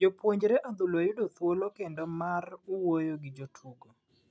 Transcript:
Jopuonje adhula yudo thuolo kendo mar wuoyo gi jotugo .